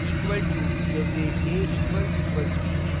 equal to के बराबर: जैसेa == b